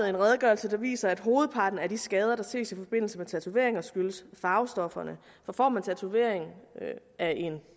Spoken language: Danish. en redegørelse der viser at hovedparten af de skader der ses i forbindelse med tatoveringer skyldes farvestofferne for får man tatoveringen af en